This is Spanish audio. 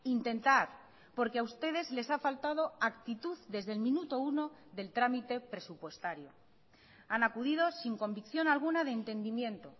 intentar porque a ustedes les ha faltado actitud desde el minuto uno del trámite presupuestario han acudido sin convicción alguna de entendimiento